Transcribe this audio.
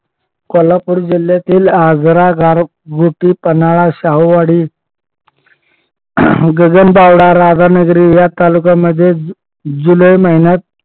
कोल्हापूर जिल्ह्यातील आग्रा युटिप पन्हाळा शाहूवाडी गगनबावडा राधानगरी या तालुक्यांमध्ये जुलै महिन्यात